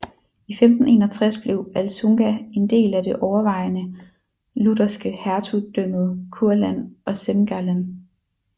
I 1561 blev Alsunga en del af det overvejende lutherske Hertugdømmet Kurland og Semgallen